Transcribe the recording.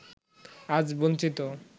আজ বঞ্চিত